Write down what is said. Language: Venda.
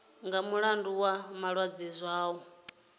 nga mulandu wa malwadze zwao